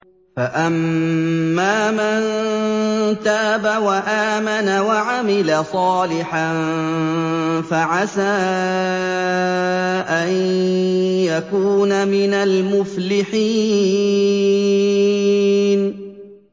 فَأَمَّا مَن تَابَ وَآمَنَ وَعَمِلَ صَالِحًا فَعَسَىٰ أَن يَكُونَ مِنَ الْمُفْلِحِينَ